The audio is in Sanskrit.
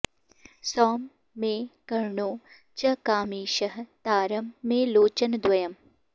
सौं मे कर्णौ च कामेशः तारं मे लोचनद्वयम्